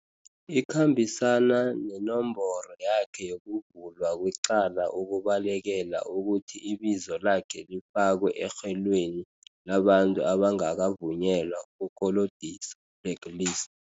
ikhambisana nenomboro yakhe yokuvulwa kwecala ukubalekela ukuthi ibizo lakhe lifakwe erhwelweni labantu abangakavu nyelwa ukukolodisa, Blacklist.